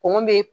Kɔngɔ be